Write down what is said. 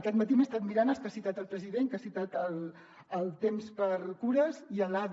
aquest matí m’he estat mirant els que ha citat el president que ha citat el tempsxcures i l’ada